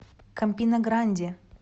кампина гранди